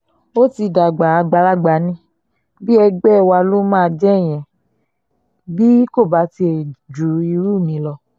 ó ti dàgbà àgbàlagbà ní bí ẹgbẹ́ wa ló máa jẹ́ ìyẹn bí kò bá tiẹ̀ ju irú mi lọ